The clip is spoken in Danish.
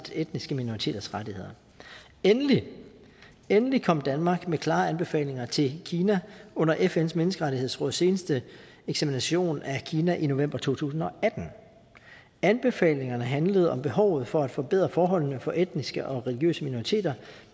etniske minoriteters rettigheder endelig endelig kom danmark med klare anbefalinger til kina under fns menneskerettighedsråds seneste eksamination at kina i november to tusind og atten anbefalingerne handlede om behovet for at forbedre forholdene for etniske og religiøse minoriteter